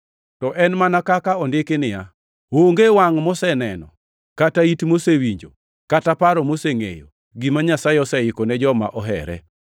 To en mana kaka ondiki niya, “Onge wangʼ moseneno, kata it mosewinjo, kata paro mosengʼeyo gima Nyasaye oseiko ne joma ohere.” + 2:9 \+xt Isa 64:4\+xt*